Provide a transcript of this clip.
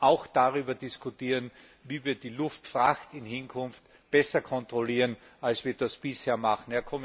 Wir müssen auch darüber diskutieren, wie wir die Luftfracht in Zukunft besser kontrollieren, als wir das bisher machen.